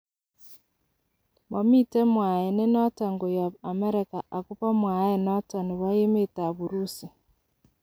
Momiten mwaet nenoton koyop Amerika agobo mwaet noton nebo Emet ab Urusi.